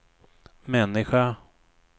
människa